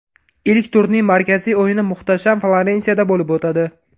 Ilk turning markaziy o‘yini muhtasham Florensiyada bo‘lib o‘tadi.